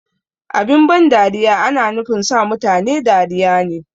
Abin ban dariya ana nufin sa mutane dariya ne